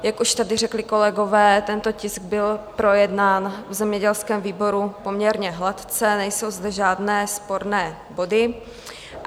Jak už tady řekli kolegové, tento tisk byl projednán v zemědělském výboru poměrně hladce, nejsou zde žádné sporné body.